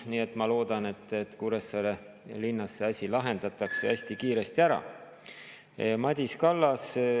Nii et ma loodan, et Kuressaare linnas see asi lahendatakse hästi kiiresti ära.